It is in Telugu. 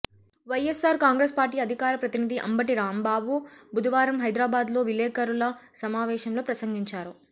వైఎస్సార్ కాంగ్రెస్ పార్టీ అధికార ప్రతినిధి అంబటి రాంబాబు బుధవారం హైదరాబాద్ లో విలేకరుల సమావేశంలో ప్రసంగించారు